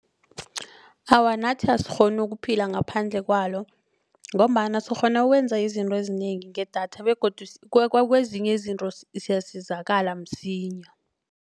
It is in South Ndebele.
Awa nathi asikghoni ukuphila ngaphandle kwalo ngombana sikghona ukwenza izinto ezinengi ngedatha begodu kwezinye izinto siyasizakala msinya.